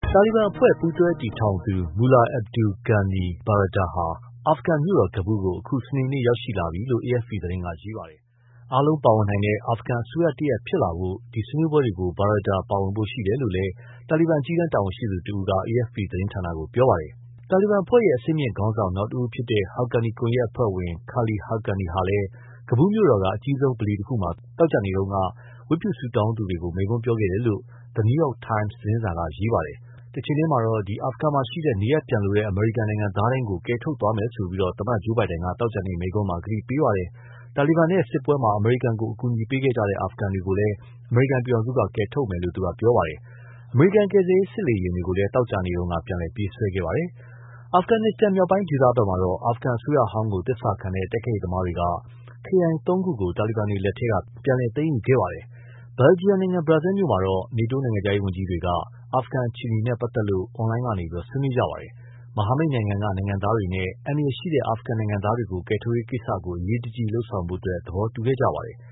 တာလီဘန်အဖွဲ့ပူးတွဲတည်ထောင်သူ Mullah Abdul Ghani Baradar ဟာ အာဖဂန်မြို့တော် ကဘူးကို အခု စနေနေ့ ရောက်ရှိလာပြီလို့ AFP သတင်းက ရေးပါတယ်။ အားလုံးပါဝင်နိုင်တဲ့ အာဖဂန်အစိုးရတရပ်ဖြစ်လာဖို့ ဆွေးနွေးပွဲတွေကို Baradar ပါဝင်ဖို့ရှိတယ်လို့ရှိတယ်လို့ တာလီဘန်အကြီးတန်းတာဝန်ရှိသူတဦးက AFP သတင်းဌာနကို ပြောပါတယ်။ တာလီဘန်အဖွဲ့ရဲ့ အဆင့်မြင့်ခေါင်းဆောင် နောက်တဦးဖြစ်တဲ့ Haqqani ကွန်ယက်အဖွဲ့ဝင် Khalil Haqqani ဟာလည်း ကဘူးမြို့တော်က အကြီးဆုံးဗလီတခုမှာ သောကြာနေ့တုန်းက ဝတ်ပြုဆုတောင်းသူတွေကို မိန့်ခွန်းပြောခဲ့တယ်လို့ the New York Times သတင်းစာက ရေးပါတယ်။ အာဖဂန်မှာရှိတဲ့ နေရပ်ပြန်လိုတဲ့ အမေရိကန်နိုင်ငံသားတိုင်းကို ကယ်ထုတ်သွားမယ်လို့ သမ္မတ Joe Biden က သောကြာနေ့မိန့်ခွန်းမှာ ကတိပြုခဲ့သလို တာလီဘန် နဲ့စစ်ပွဲမှာ အမေရိကန်ကို အကူအညီပေးခဲ့တဲ့ အာဖဂန်တွေကိုလည်း အမေရိကန်ပြည်ထောင်စုက ကယ်ထုတ်သွားမယ်လို့ ပြောသွားပါတယ်။ အမေရိကန်ကယ်ဆယ်ရေးစစ်လေယာဉ်တွေကိုလည်း သောကြာနေ့က ပြန်လည်ပြေးဆွဲခဲ့ပါတယ်။ အာဖဂနစ္စတန်မြောက်ပိုင်းဒေသမှာတော့ အာဖဂန်အစိုးရဟောင်းကိုသစ္စာခံတဲ့ တိုက်ခိုက်ရေးသမားတွေက ခရိုင်သုံးခုကို တာလီဘန်တွေလက်ထဲက ပြန်သိမ်းယူခဲ့ပါတယ်။ ဘယ်ဂျီယံနိုင်ငံ Brussels မြို့မှာတော့ နေတိုးနိုင်ငံခြားရေးဝန်ကြီးတွေဟာ အာဖဂန်အခြေအနေနဲ့ပတ်သက်လို့ အွန်လိုင်းကနေ ဆွေးနွေးကြပါတယ်။ မဟာမိတ်နိုင်ငံက နိုင်ငံသားတွေနဲ့ အန္တရာယ်ရှိတဲ့အာဖဂန်နိုင်ငံသားတွေကို ကယ်ထုတ်ရေးကိစ္စကို အရေးတကြီးလုပ်ဆောင်ဖို့ သဘောတူခဲ့ကြပါတယ်။